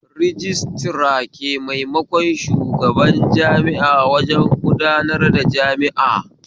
Rajistira ke maimakon shugaban jami'a wajen gudanar jami'a